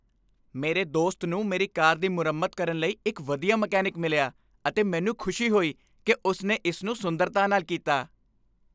ਮੇਰੇ ਦੋਸਤ ਨੂੰ ਮੇਰੀ ਕਾਰ ਦੀ ਮੁਰੰਮਤ ਕਰਨ ਲਈ ਇੱਕ ਵਧੀਆ ਮਕੈਨਿਕ ਮਿਲਿਆ ਅਤੇ ਮੈਨੂੰ ਖੁਸ਼ੀ ਹੋਈ ਕਿ ਉਸ ਨੇ ਇਸ ਨੂੰ ਸੁੰਦਰਤਾ ਨਾਲ ਕੀਤਾ।